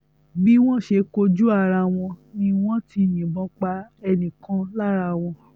bí wọ́n wọ́n ṣe kojú ara wọn ni wọ́n ti yìnbọn pa ẹnì kan lára wọn